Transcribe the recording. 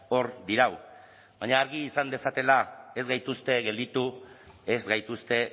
hor dirau baina argi izan dezatela ez dituzte gelditu ez gaituzte